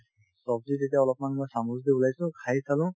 ছব্জি যেতিয়া অলপমান মই চামুচ দি ওলাইছো খাই চালো